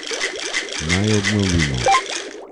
Naj obnovimo.